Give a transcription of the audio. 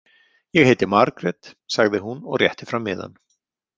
Ég heiti Margrét, sagði hún og rétti fram miðann.